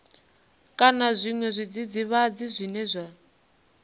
kana zwiṅwe zwidzidzivhadzi zwine zwa